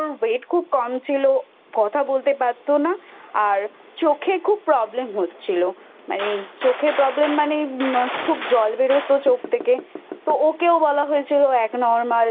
খুব কম ছিল কথা বলতে পারতো না আর চোখে খুব problem হচ্ছিলো মানে চোখে problem মানে খুব জল বেরোতো চোখ থেকে তো ওকেও বলা হয়েছিল ও Abnormal